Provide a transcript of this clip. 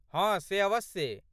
हँ से अवश्ये।